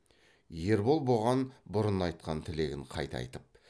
ербол бұған бұрын айтқан тілегін қайта айтып